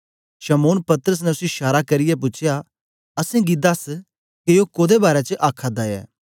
शमौन पतरस ने उसी शारा करियै पूछया असेंगी दस के ओ कोदे बारै च आखादा ऐ